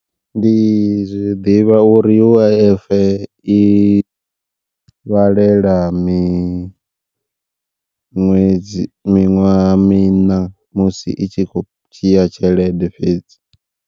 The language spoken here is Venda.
Ndi ḓivha uri U_I_F i vhalela miṅwedzi miṅwaha miṋa musi i tshi khou dzhia tshelede fhedzi.